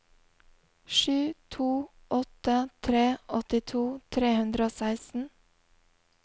sju to åtte tre åttito tre hundre og seksten